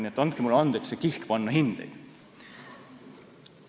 Nii et andke mulle andeks see kihk panna hindeid.